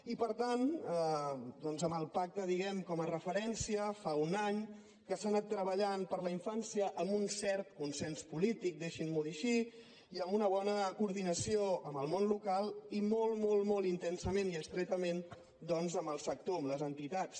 i per tant doncs amb el pacte diguem ne com a referència fa un any que s’ha anat treballant per la infància amb un cert consens polític deixin m’ho dir així i amb una bona coordinació amb el món local i molt molt intensament i estretament amb el sector amb les entitats